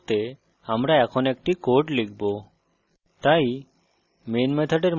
terminal a একটি line প্রদর্শন করতে আমরা এখন একটি code লিখব